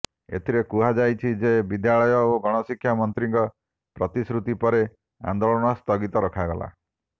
ଏଥିରେ କୁହାଯାଇଛି ଯେ ବିଦ୍ୟାଳୟ ଓ ଗଣଶିକ୍ଷା ମନ୍ତ୍ରୀଙ୍କ ପ୍ରତିଶ୍ରୁତି ପରେ ଆନ୍ଦୋଳନ ସ୍ଥଗିତ ରଖାଗଲା